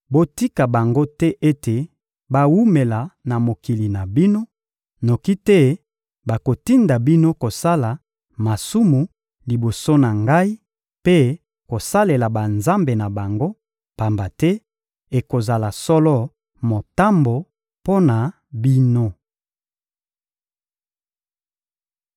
Botika bango te ete bawumela na mokili na bino, noki te bakotinda bino kosala masumu liboso na Ngai mpe kosalela banzambe na bango; pamba te ekozala solo motambo mpo na bino.»